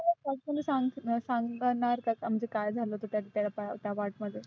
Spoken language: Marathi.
तुला सांगनार सांगणार आमच काय झालं ते. त्यात त्या part मध्ये.